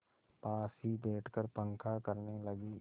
पास ही बैठकर पंखा करने लगी